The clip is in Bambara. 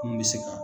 Mun bɛ se ka